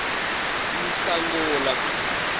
nhlangula